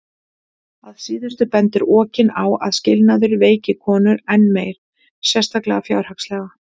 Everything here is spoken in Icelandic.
Að síðustu bendir Okin á að skilnaður veiki konur enn meir, sérstaklega fjárhagslega.